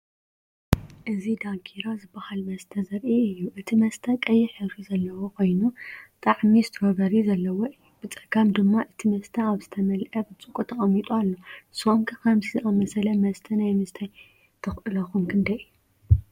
እዚ "ዳንኪራ" ዝበሃል መስተ ዘርኢ እዩ። እቲ መስተ ቀይሕ ሕብሪ ዘለዎ ኮይኑ ጣዕሚ ስትሮቨሪ ዘለዎ እዩ። ብጸጋም ድማ እቲ መስተ ኣብ ዝተመልአ ብርጭቆ ተቐሚጡ ኣሎ። ንስኩም ከ ከምዚ ዝኣመሰለ መስተ ናይ ምስታይ ተኽእሎኩም ክንደይ እዩ?